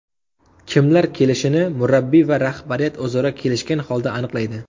Kimlar kelishini murabbiy va rahbariyat o‘zaro kelishgan holda aniqlaydi.